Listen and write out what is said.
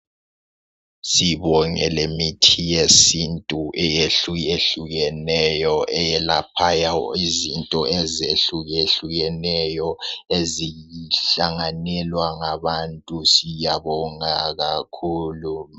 sibonge lemithi yesintu ehlukehlukeneyo eyelapha izinto ezehlukehlukeneyo ezihlanganelwa ngabantu siyabonga kakhulu